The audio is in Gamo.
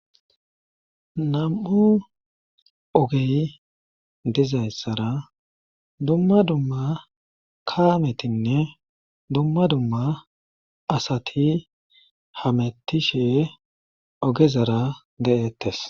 Nam'u ogey diza issara dumma dumma kaametinne dumma dumma asati hamettishe ogezara deettes.